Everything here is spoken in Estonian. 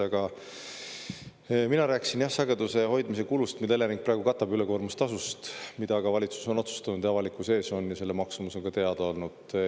Aga mina rääkisin sageduse hoidmise kulust, mida Elering praegu katab ülekoormustasust, mida ka valitsus on otsustanud avalikkuse ees ja selle maksumus on ka teada olnud.